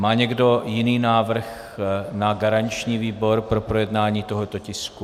Má někdo jiný návrh na garanční výbor pro projednání tohoto tisku?